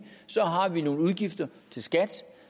har vi nogle udgifter til skat